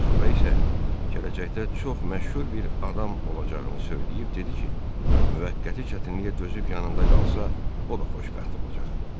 Sonra isə gələcəkdə çox məşhur bir adam olacağını söyləyib dedi ki, müvəqqəti çətinliyə dözüb yanında qalsa, o da xoşbəxt olacaq.